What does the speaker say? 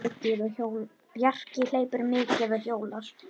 Bjarki hleypur mikið og hjólar.